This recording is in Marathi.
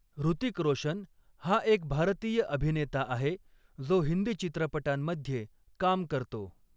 हृतिक रोशन हा एक भारतीय अभिनेता आहे जो हिंदी चित्रपटांमध्ये काम करतो.